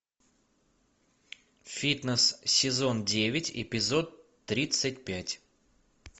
фитнес сезон девять эпизод тридцать пять